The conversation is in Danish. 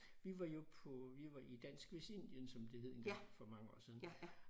Vi var jo på vi var i Dansk Vestindien som det hed engang for mange år siden